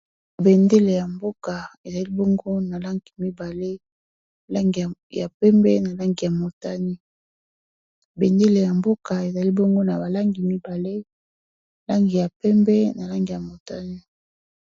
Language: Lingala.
Bendele ya mboka ezali bongo na langi mibale langi ya pembe na langi ya motane.